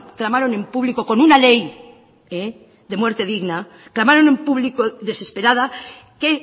clamaron en público con una ley de muerte digna clamaron en público desesperada que